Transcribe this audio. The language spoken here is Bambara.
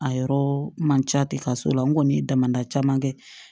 A yɔrɔ man ca ten ka so la n kɔni ye damadɔ caman kɛ